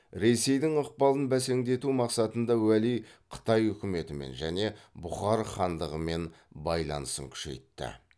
ресейдің ықпалын бәсеңдету мақсатында уәли қытай үкіметімен және бұхар хандығымен байланысын күшейтті